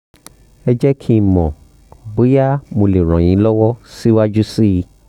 ẹ jẹ́ kí n mọ̀ bóyá mo lè ràn yín lọ́wọ́ síwájú sí i